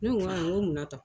Ne ko n ko munna tan ?